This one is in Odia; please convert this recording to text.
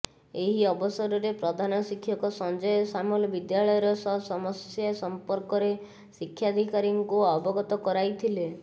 ଏହି ଅବସରରେ ପ୍ରଧାନଶିକ୍ଷକ ସଞ୍ଜୟ ସାମଲ ବିଦ୍ୟାଳୟର ସସମସ୍ୟା ସମ୍ପର୍କରେ ଶିକ୍ଷାଧିକାରୀଙ୍କୁ ଅବଗତ କରାଇଥିଲେ